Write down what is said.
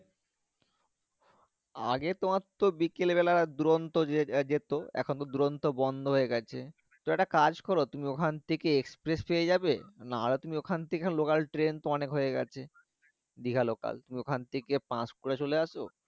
আগে তোমার তো বিকেল বেলা দুরন্ত যে যেতো এখন তো দুরন্ত বন্ধ হয়ে গেছে ত একটা কাজ করো তুমি ওখান থেকে express পেয়ে যাবে না হলে তুমি ওখান থেকে local ট্রেন তো অনেক হয়ে গেছে দীঘা local ওখান থেকে পান্সকুরা চলে আসো